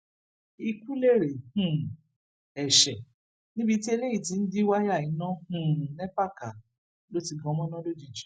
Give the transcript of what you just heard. ikú lérè um ẹṣẹ níbi tí eléyìí ti ń jí wáyà iná um ńẹpà ká ló ti gan mọnà lójijì